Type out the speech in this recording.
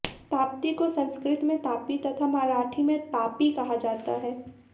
ताप्ती को संस्कृत में तापी तथा मराठी में तापी कहा जाता है